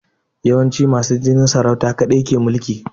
Yawanci masu jinin saurauta kaɗai ke mulki